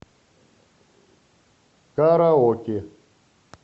караоке